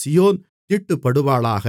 சீயோன் தீட்டுப்படுவாளாக